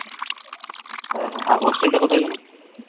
হ্যা হ্যা আর hostel টা কোথায় যেনো